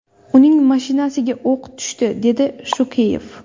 Uning mashinasiga o‘q tushdi”, dedi Shukeyev.